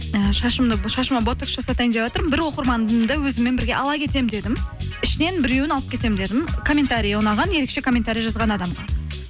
і шашыма ботокс жасайтайын деватырмын бір оқырманымды өзіммен бірге ала кетемін дедім ішінен біреуін алып кетемін дедім комментриі ұнаған ерекше комментария жазған адам